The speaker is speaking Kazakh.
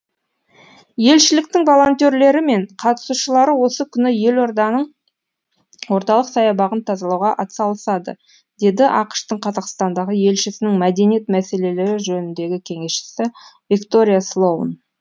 елшіліктің волентерлері мен қатысушылары осы күні елорданың орталық саябағын тазалауға атсалысады деді ақш тың қазақстандағы елшісінің мәдениет мәселелері жөніндегі кеңесшісі виктория слоун